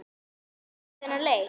Var hann tæpur fyrir þennan leik?